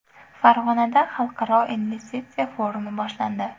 Farg‘onada xalqaro investitsiya forumi boshlandi .